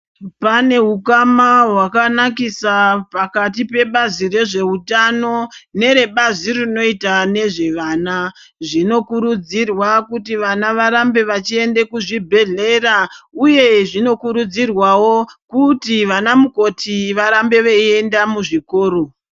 Pane hukama hwakanakisa pakati pebazi rezvehutano nerebazi rinoita nezvevana. Zvinokurudzirwa kuti vana varambe vachiende kuzvibhedhlera. ,uye zvinokurudzirwavo kuti vana mukoti varambe veienda muzvikoro.